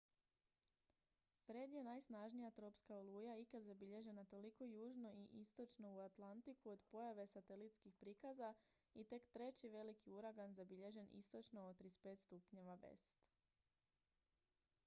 fred je najsnažnija tropska oluja ikad zabilježena toliko južno i istočno u atlantiku od pojave satelitskih prikaza i tek treći veliki uragan zabilježen istočno od 35° w